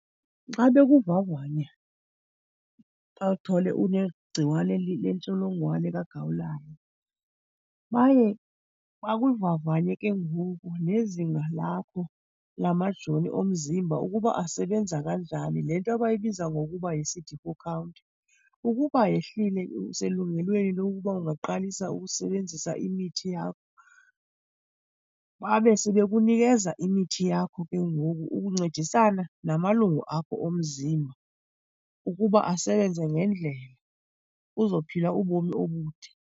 Xa bekuvavanya bathole unegciwane lentsholongwane kagawulayo baye bakuvavanye ke ngoku nezinga lakho lamajoni omzimba ukuba asebenza kanjani, le nto bayibiza ngokuba yi-C_D four count. Ukuba yehlile, uselungelweni lokuba ungaqalisa ukusebenzisa imithi yakho. Babe sebekunikeza imithi yakho ke ngoku ukuncedisana namalungu akho omzimba ukuba asebenze ngendlela uzophila ubomi obude.